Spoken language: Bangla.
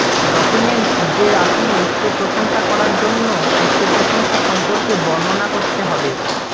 ডকুমেন্টস যে আপনি উচ্চ প্রশংসা করার জন্য উচ্চ প্রশংসা সম্পর্কে বর্ণনা করতে হবে